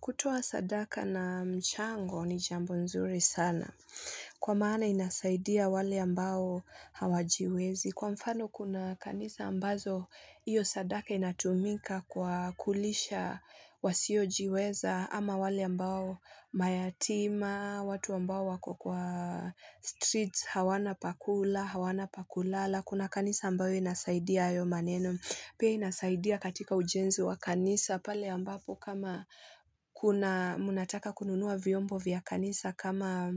Kutoa sadaka na mchango ni jambo nzuri sana, kwa maana inasaidia wale ambao hawajiwezi. Kwa mfano kuna kanisa ambazo iyo sadaka inatumika kwa kulisha wasiojiweza, ama wale ambao mayatima, watu ambao wako kwa streets hawana pa kula, hawana pa kulala.kuna kanisa ambayo inasaidia ayo maneno, piya inasaidia katika ujenzi wa kanisa, pale ambapo kuna mnataka kununua vyombo vya kanisa kama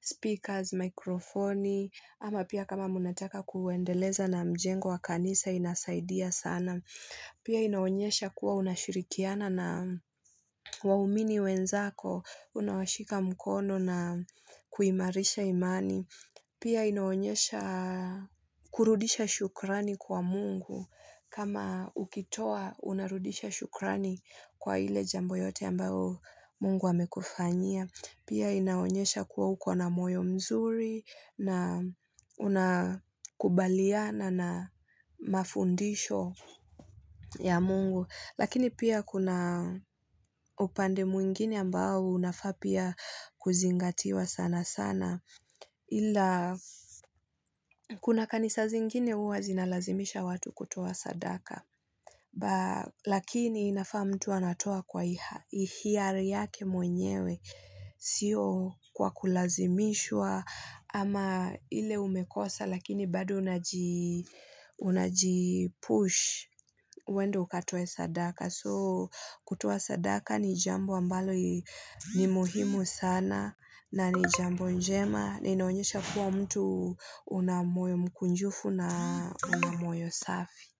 speakers, mikrofoni, ama pia kama mnataka kuendeleza na mjengo wa kanisa inasaidia sana. Piy inaonyesha kuwa unashirikiana na waumini wenzako, unawashika mkono na kuimarisha imani, pia inaonyesha kurudisha shukrani kwa mungu, kama ukitoa unarudisha shukrani kwa ile jambo yote ambao mungu amekufanyia, piya inaonyesha kuwa ukona moyo mzuri na unakubaliana na mafundisho ya mungu, lakini pia kuna upande mwingine ambao unafaa pia kuzingatiwa sana sana, ila kuna kanisa zingine wazina lazimisha watu kutoa sadaka, lakini inafaa mtua anatoa kwa hiari yake mwenyewe, sio kwa kulazimishwa ama ile umekosa lakini bado unaji push uende ukatoa sadaka, soo kutoa sadaka ni jambo ambalo ni muhimu sana na ni jambo njema, na inaonyesha kuwa mtu unamoyo mkunjufu na unamoyo safi.